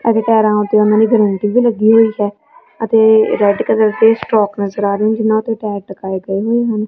ਅਤੇ ਪੈਰਾਂ ਦੇ ਉਹਨਾਂ ਦੇ ਗਰੰਟੀ ਵੀ ਲੱਗੀ ਹੋਈ ਹੈ ਅਤੇ ਰੈਡ ਕਲਰ ਦੇ ਸਟੋਕ ਨਜ਼ਰ ਆ ਰਹੀ ਜਿਨਾਂ ਤੇ ਪੈਰ ਟਿਕਾਏ ਗਏ ਹੋਏ ਹਨ।